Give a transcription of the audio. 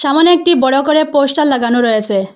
অনেকটি বড়ো করে পোস্টার লাগানো রয়েসে।